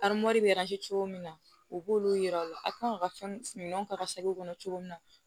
cogo min na u b'olu yira u la a kan ka fɛn min ta ka kɔnɔ cogo min na